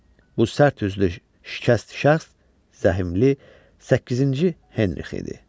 Bu sərt üzlü, şikəst şəxs Zəhimli Səkkizinci Henri idi.